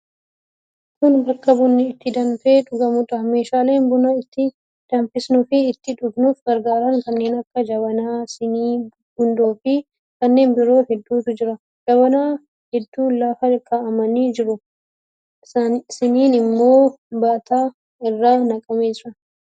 Kun bakka bunni itti danfee dhugamuudha. Meeshaalee buna itti danfisuufi ittiin dhuguuf gargaaran kanneen akka: jabanaa, sinii, gundoofi kanneen biroo hedduutu jira. Jabanaa hedduun lafa kaa'amanii jiru. Siniin immoo baataa irra naqamee jira.